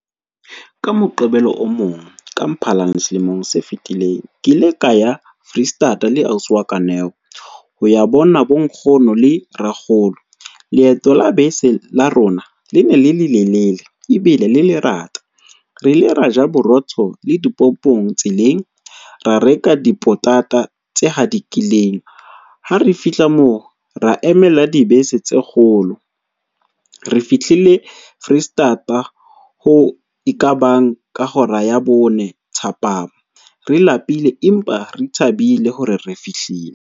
Ka Moqebelo o mong, ka Mphalane selemong se fetileng, ke ile ka ya Foreisetata le ausi wa ka Neo, ho ya bona bonkgono le rakgolo. Leeto la bese la rona le ne le le lele ebile le lerata. Re ile ra ja borotho le dipompong tseleng, ra reka dipotata tse hadikileng, ha re fihla moo, ra emela dibese tse kgolo. Re fihlile Foreisetata, ho e ka bang ka hora ya bone thapama, re lapile, empa re thabile hore re fihlile.